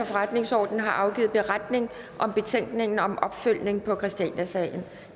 forretningsordenen har afgivet beretning om betænkningen om opfølgning på christianiasagen